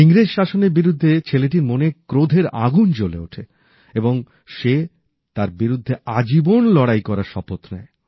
ইংরেজ শাসনের বিরুদ্ধে ছেলেটির মনে ক্রোধের আগুন জ্বলে ওঠে এবং সে তার বিরুদ্ধে আজীবন লড়াই করার শপথ নেয়